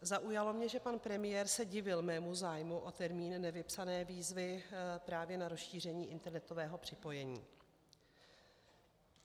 Zaujalo mě, že pan premiér se divil mému zájmu o termín nevypsané výzvy právě na rozšíření internetového připojení.